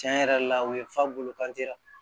Tiɲɛ yɛrɛ la u ye fa bolo kanci